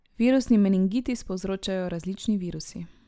Virusni menigitis povzročajo različni virusi.